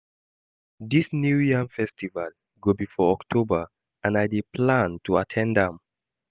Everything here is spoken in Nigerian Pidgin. Dia new yam festival go be for October and I dey plan to at ten d am